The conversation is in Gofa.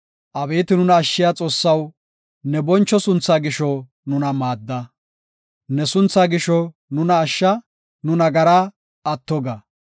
Abeeti nuna ashshiya Xoossaw, ne boncho sunthaa gisho nuna maadda. Ne suntha gisho nuna ashsha; nu nagaraa atto ga.